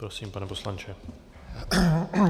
Prosím, pane poslanče.